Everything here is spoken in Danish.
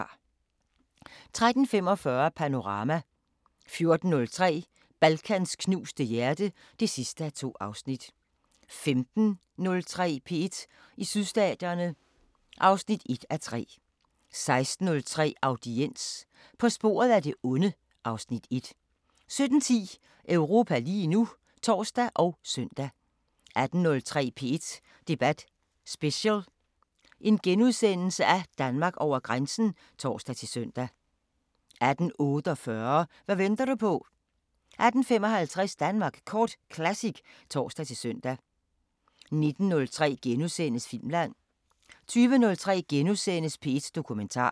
13:45: Panorama 14:03: Balkans knuste hjerte (2:2) 15:03: P1 i Sydstaterne (1:3) 16:03: Audiens – På sporet af det onde (Afs. 1) 17:10: Europa lige nu (tor og søn) 18:03: P1 Debat Special: Danmark over grænsen *(tor-søn) 18:48: Hvad venter du på 18:55: Danmark Kort Classic (tor-søn) 19:03: Filmland * 20:03: P1 Dokumentar *